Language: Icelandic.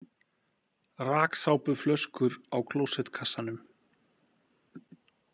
Raksápuflöskur á klósettkassanum.